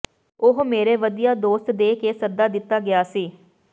ਉਹ ਮੇਰੇ ਵਧੀਆ ਦੋਸਤ ਦੇ ਕੇ ਸੱਦਾ ਦਿੱਤਾ ਗਿਆ ਸੀ